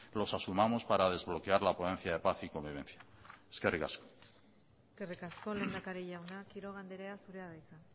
los asumamos para desbloquear la ponencia de paz y convivencia eskerrik asko eskerrik asko lehendakari jauna quiroga andrea zurea da hitza